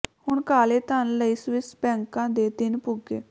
ਹੁਣ ਕਾਲੇ ਧਨ ਲਈ ਸਵਿਸ ਬੈਂਕਾਂ ਦੇ ਦਿਨ ਪੁੱਗੇ